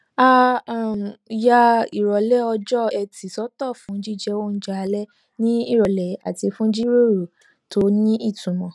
a um ya ìròlé ọjọ ẹti sótò fún jíjẹ oúnjẹ alé ní ìròlé àti fún ìjíròrò tó nítumò